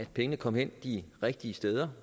pengene kommer de rigtige steder